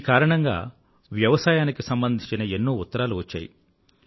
ఈ కారణంగా వ్యవసాయానికి సంబంధించిన ఎన్నో ఉత్తరాలు వచ్చాయి